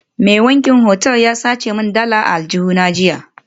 Mai wankin otal ya sace min dalar a aljihuna jiya